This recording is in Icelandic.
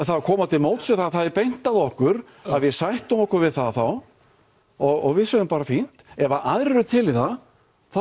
koma á móts við það er beint að okkur að við sættum okkur við það þá og við sögðum bara fínt ef aðrir eru til í það þá